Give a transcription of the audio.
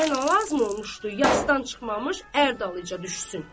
Ona nə lazım olmuşdu, yasdan çıxmamış ər dalıyca düşsün.